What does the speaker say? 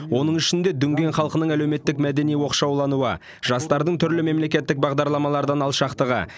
оның ішінде дүнген халқының әлеуметтік мәдени оқшаулануы жастардың түрлі мемлекеттік бағдарламалардан алшақтығы